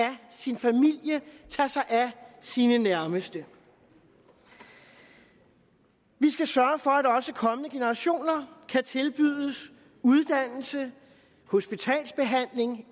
sin familie tage sig af sine nærmeste vi skal sørge for at også kommende generationer kan tilbydes uddannelse hospitalsbehandling